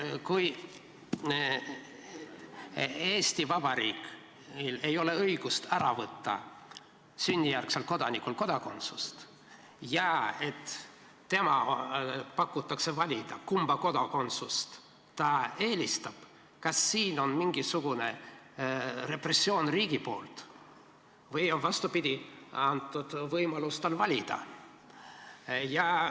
Kui Eesti Vabariigil ei ole õigust sünnijärgselt kodanikult kodakondsust ära võtta ja temale antakse valida, kumba kodakondsust ta eelistab, kas siis on riigi poolt mingisugune repressioon või on, vastupidi, antud võimalus valida?